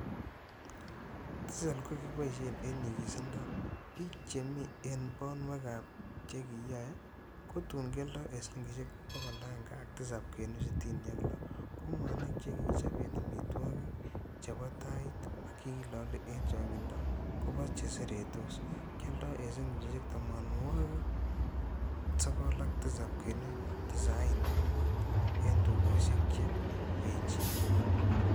Tisel, keboishen en nyigisindo bik che mi en bonwek ak chekiyoe, kutun kioldo en silingisiek 107.66 ,ko mwanik chekichomen amitwogik, chebo tait ak chekilole chen chongindo kobo cheseretos, kioldon en silingisiek 97.85 en tugosiek che echen.